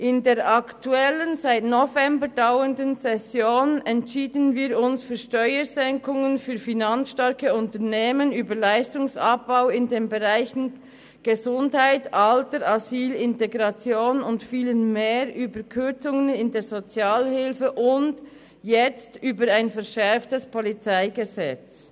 In der aktuellen, seit November dauernden Session entschieden wir uns für Steuersenkungen für finanzstarke Unternehmen, wir befanden über Leistungsabbau in den Bereichen Gesundheit, Alter, Asyl, Integration und vielem mehr, über Kürzungen in der Sozialhilfe und jetzt über ein verschärftes PolG.